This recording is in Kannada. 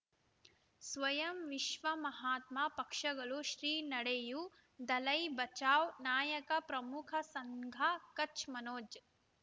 ಸ್ವಯಂ ವಿಶ್ವ ಮಹಾತ್ಮ ಪಕ್ಷಗಳು ಶ್ರೀ ನಡೆಯೂ ದಲೈ ಬಚೌ ನಾಯಕ ಪ್ರಮುಖ ಸಂಘ ಕಚ್ ಮನೋಜ್